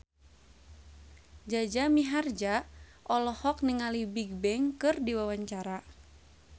Jaja Mihardja olohok ningali Bigbang keur diwawancara